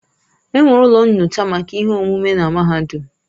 Enwere ụlọ nyocha maka ihe omume na mahadum.